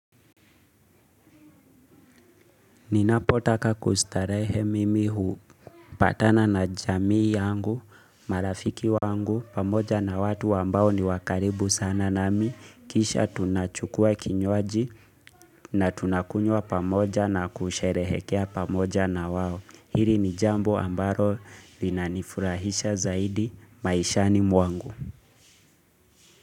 Ninapotaka kustarehe mimi hupatana na jamii yangu, marafiki wangu, pamoja na watu ambao ni wa karibu sana nami, kisha tunachukua kinywaji na tunakunywa pamoja na kusherehekea pamoja na wao. Hili ni jambo ambalo linanifurahisha zaidi maishani mwangu.